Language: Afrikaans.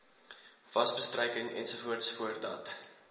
wasbestryking ens voordat